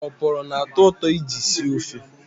Oporo na-atọ ụtọ iji sie ofe.